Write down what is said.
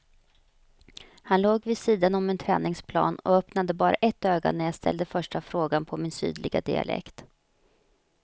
Han låg vid sidan om en träningsplan och öppnade bara ett öga när jag ställde första frågan på min sydliga dialekt.